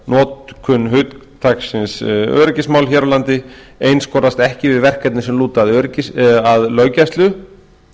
notkun hugtaksins öryggismál hér á landi einskorðast ekki við verkefni sem lúta að löggæslu